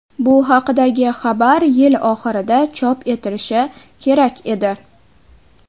Bu haqidagi xabar yil oxirida chop etilishi kerak edi.